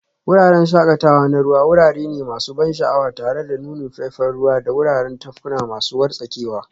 Wuraren shakatawa na ruwa wurare ne masu ban sha'awa tare da nunin faifan ruwa da wuraren tafkuna masu wartsakewa.